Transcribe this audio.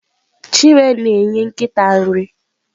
Chinwe na-enye nkịta nri.